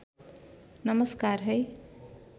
नमस्कार है